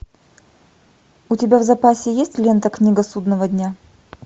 у тебя в запасе есть лента книга судного дня